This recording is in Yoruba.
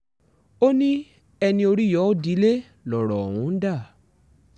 o ní ẹni orí yọ ó dilẹ̀ lọ́rọ̀ ọ̀hún dà